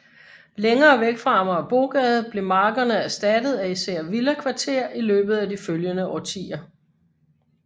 Længere væk fra Amagerbrogade blev markerne erstattet af især villakvarter i løbet af de følgende årtier